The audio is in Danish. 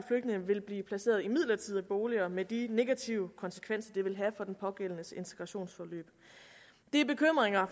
vil blive placeret i midlertidige boliger med de negative konsekvenser det vil have for den pågældendes integrationsforløb de bekymringer